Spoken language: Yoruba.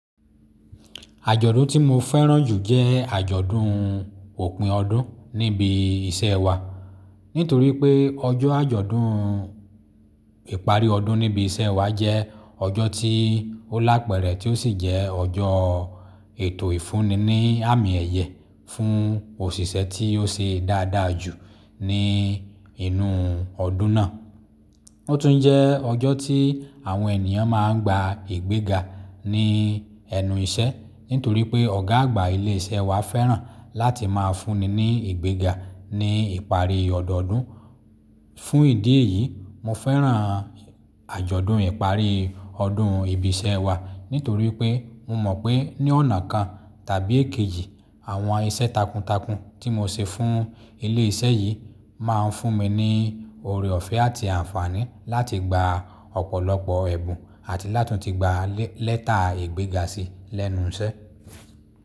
Àjọ̀dún tí mo fẹ́ràn jù jẹ́ àjọ̀dún òpin ọdún níbi iṣẹ́ wa. Nítorí pé ọjọ́ àjọ̀dún ìparí ọdún níbi iṣẹ́ wa jẹ́ ọjọ́ tí ó lá pẹ̀rẹ̀ tí ó sì jẹ́ ọjọ́ ètò ìfúnni ní àmì ẹ̀yẹ fún òṣìṣẹ́ tí ó ṣe dáadáa jù ní inú ọdún náà. Ó tún jẹ́ ọjọ́ tí àwọn ènìyàn máa ń gba ìgbéga ní ẹnu iṣẹ́. Nítorí pé ọ̀gá àgbà ilé iṣẹ́ wa fẹ́ràn láti máa fúnni ní ìgbéga ní ìparí ọdọdún. Fún ìdí èyí, mo fẹ́ràn àjọ̀dún ìparí ọdún ibi iṣẹ́ wa, nítorí pé mo mọ̀ pé ní ọ̀nà kan tàbí èkejì, àwọn iṣẹ́ takuntakun tí mo ṣe fún ilé iṣẹ́ yìí máa ń fún mi ní ọ̀rẹ́ ọ̀fẹ́ àti àǹfààní láti gba ọ̀pọ̀lọpọ̀ ẹ̀bùn àti láti tún gba lẹ́tà ìgbéga sí lẹ́nu iṣẹ́.